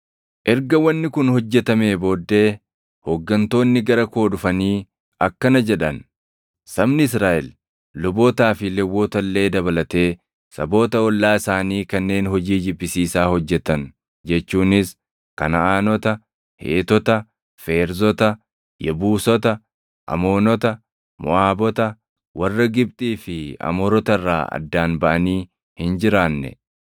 Erga wanni kun hojjetamee booddee hooggantoonni gara koo dhufanii akkana jedhan; “Sabni Israaʼel lubootaa fi Lewwota illee dabalatee saboota ollaa isaanii kanneen hojii jibbisiisaa hojjetan jechuunis Kanaʼaanota, Heetota, Feerzota, Yebuusota, Amoonota, Moʼaabota, warra Gibxii fi Amoorota irraa addaan baʼanii hin jiraanne.